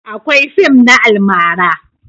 Akwai fim na almara